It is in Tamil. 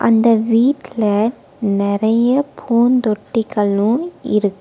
அந்த வீட்ல நெறைய பூந்தொட்டிகளு இருக்--